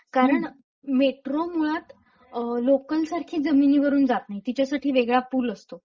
कारण मेट्रो मुळात अ... लोकल सारखी जमिनीवरून नाही. तिच्यासाठी वेगळा पूल असतो.